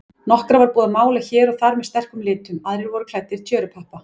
Nokkra var búið að mála hér og þar með sterkum litum, aðrir voru klæddir tjörupappa.